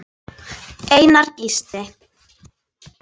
Einar Gísli.